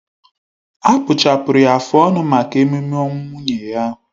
Akpụchapụrụ ya afụ ọnụ maka ememe ọnwụ nwunye ya